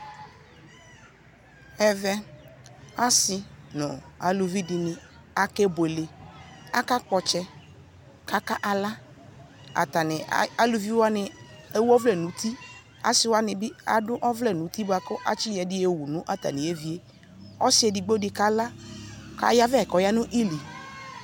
ɛvɛ asii nʋ alʋvi dini akɛ bʋɛlɛ, aka gbɔ ɔtsɛ kʋ aka la atani alʋvi wani ɛwʋ ɔvlɛ nʋ uti asii wani bi adʋ ɔvlɛ nʋ ʋti kʋ atsi yɔ ɛdi yɔwʋ nu atami ɛvi, ɔsii ɛdigbɔ dibi kala kʋ ayavɛ kʋ ɔyanʋ ili